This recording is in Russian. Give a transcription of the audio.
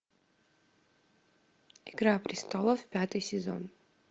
игра престолов пятый сезон